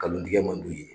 Kalon tigɛ man d'u ye